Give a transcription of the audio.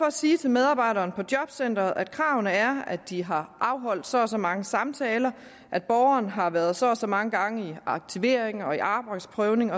at sige til medarbejderne på jobcentrene at kravene er at de har afholdt så og så mange samtaler at borgeren har været så og så mange gange i aktivering og arbejdsprøvning